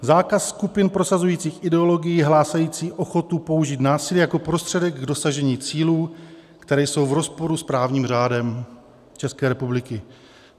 Zákaz skupin prosazujících ideologii hlásající ochotu použít násilí jako prostředek k dosažení cílů, které jsou v rozporu s právním řádem České republiky.